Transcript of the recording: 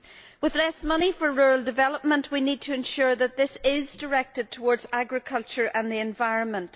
With less money for rural development, we need to ensure that this is directed towards agriculture and the environment.